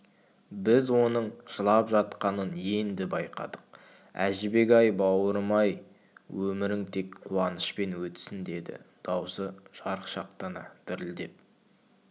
біз оның жылап жатқанын енді байқадық әжібек-ай баурым-ай өмірің тек қуанышпен өтсін деді даусы жарықшақтана дірілдеп